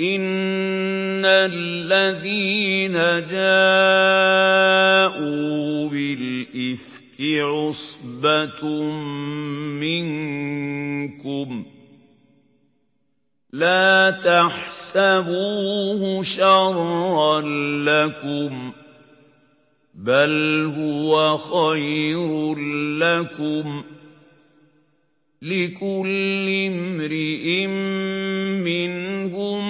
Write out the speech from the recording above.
إِنَّ الَّذِينَ جَاءُوا بِالْإِفْكِ عُصْبَةٌ مِّنكُمْ ۚ لَا تَحْسَبُوهُ شَرًّا لَّكُم ۖ بَلْ هُوَ خَيْرٌ لَّكُمْ ۚ لِكُلِّ امْرِئٍ مِّنْهُم